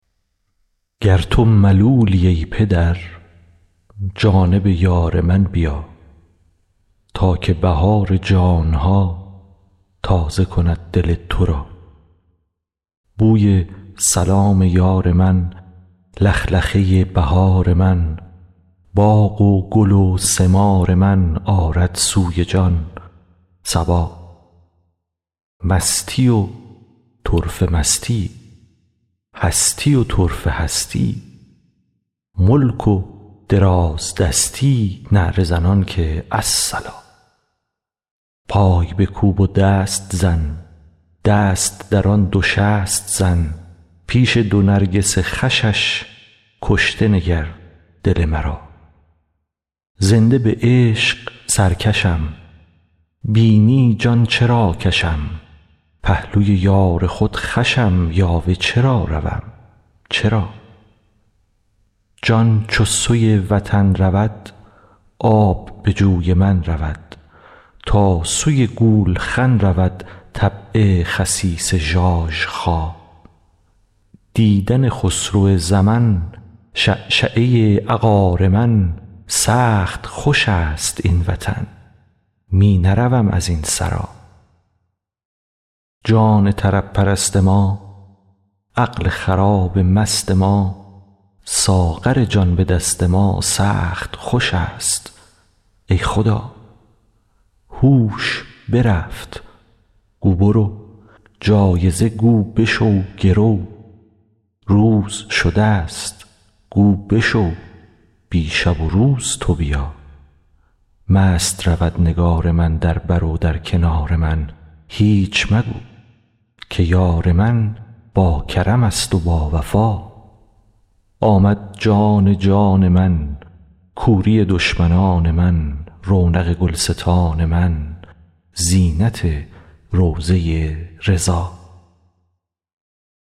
گر تو ملولی ای پدر جانب یار من بیا تا که بهار جان ها تازه کند دل تو را بوی سلام یار من لخلخه ی بهار من باغ و گل و ثمار من آرد سوی جان صبا مستی و طرفه مستی ای هستی و طرفه هستی ای ملک و دراز دستی ای نعره زنان که الصلا پای بکوب و دست زن دست درآن دو شست زن پیش دو نرگس خوشش کشته نگر دل مرا زنده به عشق سرکشم بینی جان چرا کشم پهلوی یار خود خوشم یاوه چرا روم چرا جان چو سوی وطن رود آب به جوی من رود تا سوی گولخن رود طبع خسیس ژاژخا دیدن خسرو زمن شعشعه عقار من سخت خوش است این وطن می نروم از این سرا جان طرب پرست ما عقل خراب مست ما ساغر جان به دست ما سخت خوش است ای خدا هوش برفت گو برو جایزه گو بشو گرو روز شده ست گو بشو بی شب و روز تو بیا مست رود نگار من در بر و در کنار من هیچ مگو که یار من باکرمست و باوفا آمد جان جان من کوری دشمنان من رونق گلستان من زینت روضه ی رضا